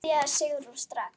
Byrjaðu Sigrún, strax.